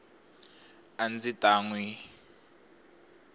a ndzi ta n wi